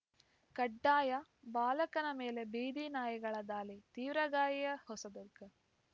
ಕಡ್ಡಾಯ ಬಾಲಕನ ಮೇಲೆ ಬೀದಿ ನಾಯಿಗಳ ದಾಳಿ ತೀವ್ರ ಗಾಯ ಹೊಸದುರ್ಗ